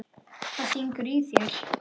Hvað syngur í þér?